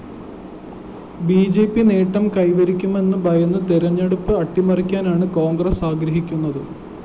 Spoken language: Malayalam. ബി ജെ പി നേട്ടം കൈവരിക്കുമെന്നു ഭയന്ന് തെരഞ്ഞെടുപ്പ് അട്ടിമറിക്കാനാണ് കോണ്‍ഗ്രസ് ആഗ്രഹിക്കുന്നത്